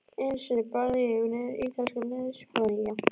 Einu sinni barði ég niður ítalskan liðsforingja.